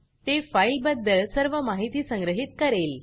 ते फाइल बद्दल सर्व माहिती संग्रहित करेल